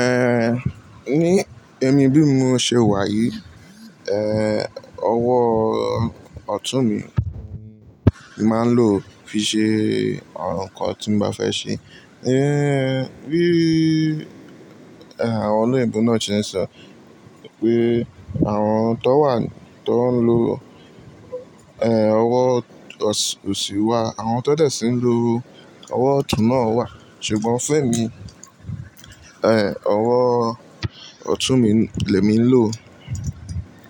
Eh, ní ẹ̀mí bí mo ṣe wà yìí, eh, owó ọ̀tún mi màá ń lò fi ṣe àwọn nǹkan tí mo bá fẹ́ ṣe. Eh, bí àwọn olóyè múnú ọ̀tún ṣe ń sọ pé àwọn tó wà tó ń lo eh owó òsì wà, àwọn tó dẹ̀ sí ń lo owó ọ̀tún náà wà, ṣùgbọ́n fún èmi, eh owó ọ̀tún mi lẹ mi ń lò